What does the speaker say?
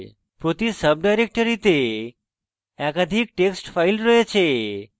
প্রতি সাবডাইরেক্টরীতে একাধিক text files রয়েছে